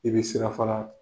I bɛ sira fara